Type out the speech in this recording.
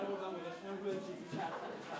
Sən burdan gəl burdan.